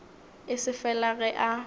e se fela ge a